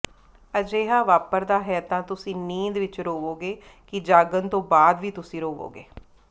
ਅਜਿਹਾ ਵਾਪਰਦਾ ਹੈ ਤਾਂ ਤੁਸੀਂ ਨੀਂਦ ਵਿੱਚ ਰੋਵੋਗੇ ਕਿ ਜਾਗਣ ਤੋਂ ਬਾਅਦ ਵੀ ਤੁਸੀਂ ਰੋਵੋਗੇ